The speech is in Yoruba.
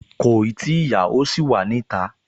Kòì tíì yá, ó ṣì wà ní ìta